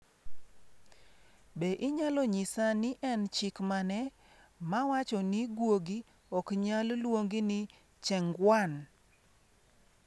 Be inyalo nyisa ni en chik mane mawacho ni guogi ok nyal luongi ni Chengguan?